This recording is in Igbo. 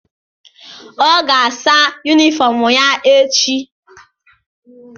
Ọ ga-asa yunifọm ya echi.